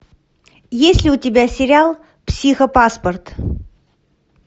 есть ли у тебя сериал психопаспорт